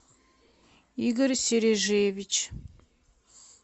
игорь сережиевич